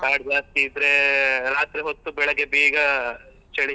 ಕಾಡ್ ಜಾಸ್ತಿ ಇದ್ರೆ ರಾತ್ರಿ ಹೊತ್ತು ಬೆಳಿಗ್ಗೆ ಬೇಗ ಚಳಿ.